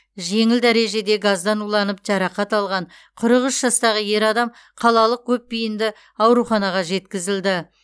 жеңіл дәрежеде газдан уланып жарақат алған қырық үш жастағы ер адам қалалық көпбейінді ауруханаға жеткізілді